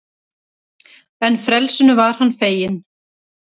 En frelsinu var hann feginn.